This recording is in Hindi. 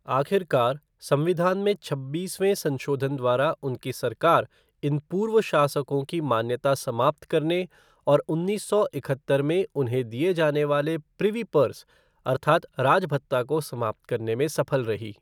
आखिरकार, संविधान में छब्बीसवें संशोधन द्वारा उनकी सरकार इन पूर्व शासकों की मान्यता समाप्त करने और उन्नीस सौ इकहत्तर में उन्हें दिए जाने वाले प्रिवी पर्स अर्थात् राज भत्ता को समाप्त करने में सफल रही।